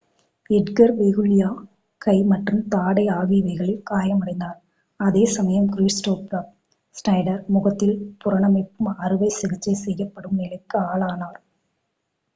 Edgar வெகுல்லியா கை மற்றும் தாடை ஆகியவைகளில் காயமடைந்தார் அதே சமயம் க்ரிஸ்டாஃப் ஷ்னைடர் முகத்தில் புனரமைப்பு அறுவை சிகிச்சை செய்யப்படும் நிலைக்கு ஆளானார்